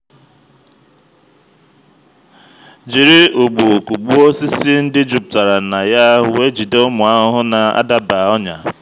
jiri ụgbụ kụgbuo osisi ndị jupụtara na ya wee jide ụmụ ahụhụ na-adaba ọnyà.